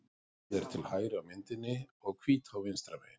Sogið er til hægri á myndinni og Hvítá vinstra megin.